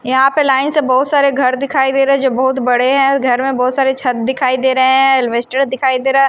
यहाँ पे लाइन से बहुत सारे घर दिखाई दे रहे हैं जो बहुत बड़े हैं घर में बहुत सारे छत दिखाई दे रहे हैं एल्वेस्टर दिखाई दे रहा है।